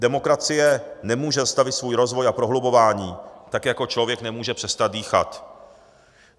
Demokracie nemůže zastavit svůj rozvoj a prohlubování, tak jako člověk nemůže přestat dýchat.